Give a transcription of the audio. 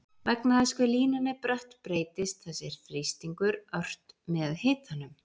vegna þess hve línan er brött breytist þessi þrýstingur ört með hitanum